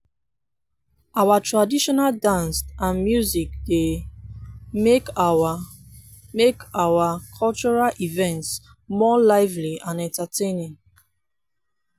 our traditional dance and music dey make our make our cultural events more lively and entertaining.